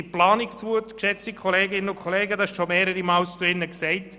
Dies wurde im Grossen Rat schon mehrmals erwähnt.